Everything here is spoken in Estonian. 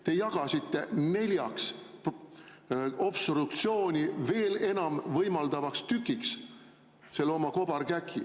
Te jagasite oma kobarkäki neljaks obstruktsiooni veel enam võimaldavaks tükiks.